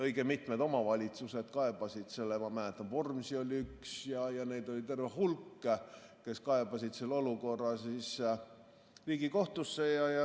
Õige mitmed omavalitsused kaebasid – ma mäletan, Vormsi oli üks ja neid oli terve hulk – selle olukorra Riigikohtusse.